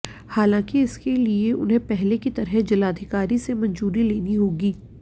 हालांकि इसके लिए उन्हें पहले की तरह जिलाधिकारी से मंजूरी लेनी होगी